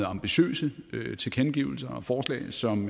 og ambitiøse tilkendegivelser og forslag som